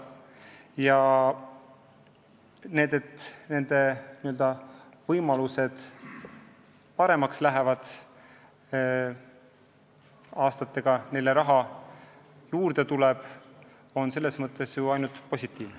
Ja et omavalitsuste võimalused paremaks lähevad, et aastatega neile raha juurde tuleb, on ju ainult positiivne.